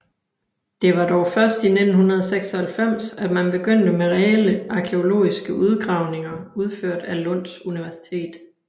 Det var dog først i 1996 at man begyndte med reelle arkæologiske udgravninger udført af Lunds Universitet